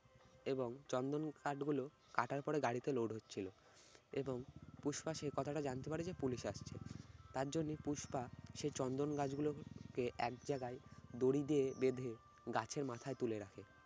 এবং চন্দন কাঠগুলো কাটার পরে গাড়িতে load হচ্ছিল এবং পুষ্পা সে কথাটা জানতে পারে যে পুলিশ আসছে, তার জন্য পুষ্পা সেই চন্দন গাছগুলোকে এক জাগায় দড়ি দিয়ে বেঁধে গাছের মাথায় তুলে রাখে।